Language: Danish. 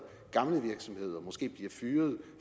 gamle virksomheder måske bliver fyret